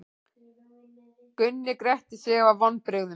Gunni gretti sig af vonbrigðum.